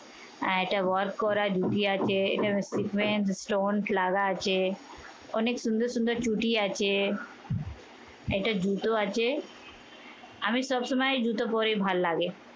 আহ এটা work করা ধুতি আছে। এখানে segment stone লাগা আছে। অনেক সুন্দর সুন্দর চটি আছে। এটা জুতো আছে। আমি সবসময় জুতো পরি ভাল্লাগে।